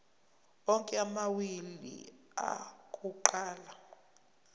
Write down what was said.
onke amawili akuqala